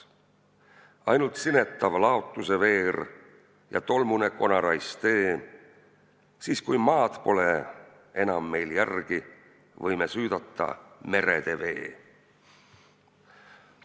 Ainult sinetav laotuseveer ja tolmune konarais tee, siis kui maad pole enam meil järgi, võime syydata merede vee.